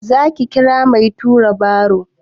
Za ki kira mai tura baro?